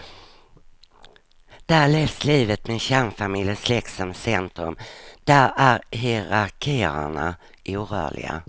Där levs livet med kärnfamilj och släkt som centrum, där är hierarkierna orörliga.